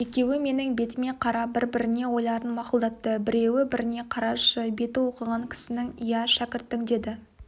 екеуі менің бетіме қарап бір-біріне ойларын мақұлдатты біреуі біріне қарашы беті оқыған кісінің иә шәкірттің деді